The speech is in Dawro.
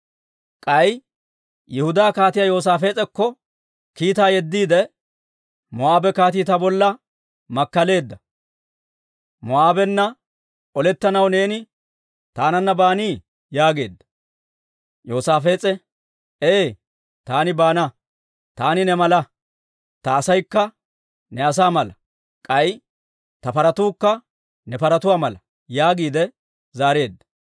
K'ay Yihudaa Kaatiyaa Yoosaafees'akko kiitaa yeddiide, «Moo'aabe kaatii ta bolla makkaleedda; Moo'aabenna olettanaw neeni taananna baanii?» yaageedda. Yoosaafees'e, «Ee taani baana. Taani ne mala; ta asaykka ne asaa mala; k'ay ta paratuukka ne paratuwaa mala» yaagiide zaareedda.